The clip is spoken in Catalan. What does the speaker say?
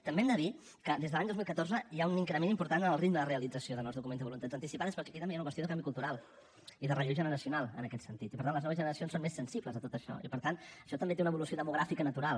també hem de dir que des de l’any dos mil catorze hi ha un increment important en el ritme de realització de nous documents de voluntats anticipades però que aquí també hi ha una qüestió de canvi cultural i de relleu generacional en aquest sentit i per tant les noves generacions són més sensibles a tot això i per tant això també té una evolució demogràfica natural